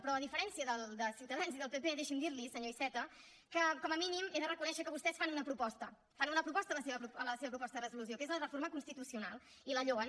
però a diferència de ciutadans i del pp deixi’m dir li senyor iceta que com a mínim he de reconèixer que vostès fan una proposta fan una proposta en la seva proposta de resolució que és la reforma constitucional i la lloen